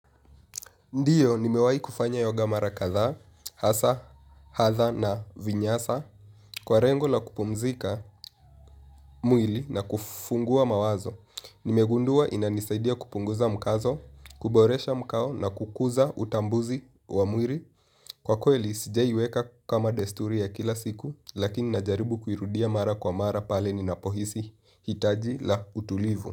Ndiyo nimewahi kufanya kuhoga mara kathaa hasa hatha na vinyasa, kwa lengo la kupumzika mwili na kufunguwa mawazo. Nimegunduwa inanisaidiya kupunguza mkazo, kuboresha mkao na kukuza utambuzi wa mwili kwa kweli sijawahi iweka kama desturi ya kila siku lakini najaribu kuirudiya mara kwa mara pale ninapo hisi itaji la utulivu.